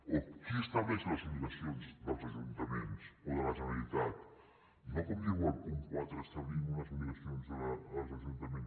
o qui estableix les obligacions dels ajuntaments o de la generalitat no com diu el punt quatre establint unes obligacions als ajuntaments